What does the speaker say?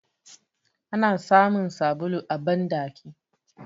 Ana samun sabulu a bandaki